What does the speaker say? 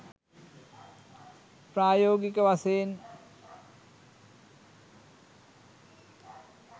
ප්‍රායෝගික වශයෙන්